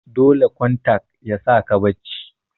dole kontak yasaka bacci